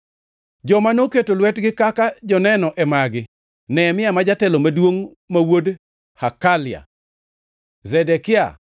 Joma noketo lwetgi kaka joneno e magi: Nehemia ma jatelo maduongʼ, ma wuod Hakalia. Zedekia,